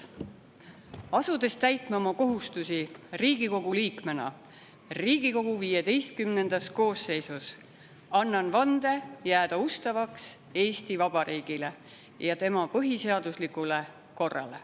Asudes täitma oma kohustusi Riigikogu liikmena Riigikogu XV koosseisus, annan vande jääda ustavaks Eesti Vabariigile ja tema põhiseaduslikule korrale.